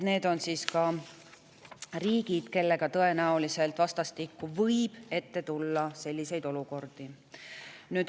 Need on siis riigid, kellega võib tõenäoliselt vastastikku selliseid olukordi ette tulla.